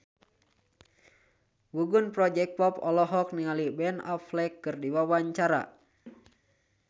Gugum Project Pop olohok ningali Ben Affleck keur diwawancara